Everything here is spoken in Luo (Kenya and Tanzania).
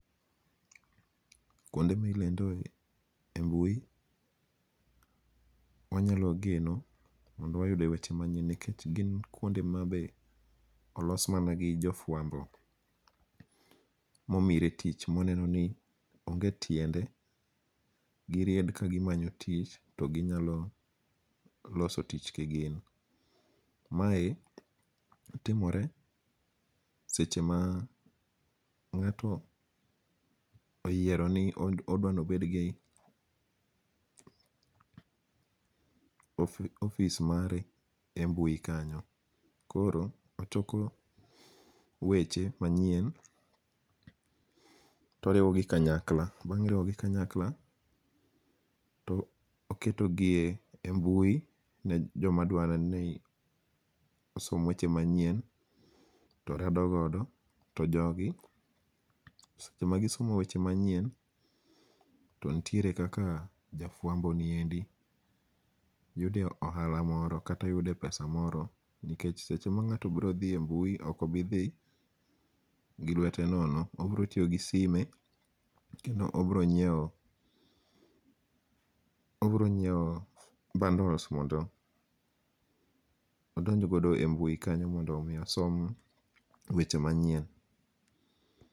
Kuonde milondoe e mbui, wanyalo geno mondo wayudie weche manyien nikech gin kuonde ma bende oloa mana gi jofuambo momire tich moneni onge' tiende giried kagimanyo to ginyalo loso tich kigin, mae timore seche ma nga'to oyiero ni odwa no obed gi office mare e mbui kanyo, koro ochoko weche manyien to oriwogi kanyakla, bang' riwogi kanyakla to oketogie mbui ne jomadwaro ni osom weche manyien to rado godo to jogi seche magisomo weche manyien to nitiere kaka jafuamboniendi yudie ohala moro kata yudie pesa moro, nikech seche ma nga'to brothie mbui okobithi gi lwete nono obrotiyo gi sime kendo obronyiewo obronyiewo bundles mondo odonj godo e mbui kanyo mondo mi osom weche manyien.